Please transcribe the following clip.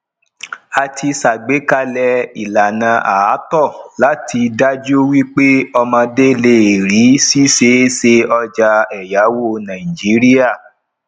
àti ṣàgbékalẹ ìlànà ààtò láti daju wípé omodé le rí siseese ọjà èyáwó nàìjíríà